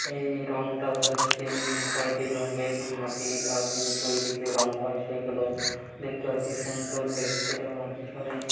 এই রংটা হচ্ছে উম খয়েরি রঙের মাটি দিয়ে তৈরি | যে রং হয় সেগগুলো দেখতে বেশি সুন্দর দেখতে |এবং পিছনে--